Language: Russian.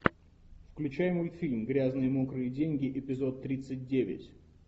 включай мультфильм грязные мокрые деньги эпизод тридцать девять